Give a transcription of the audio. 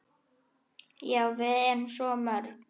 Já, við erum svo mörg.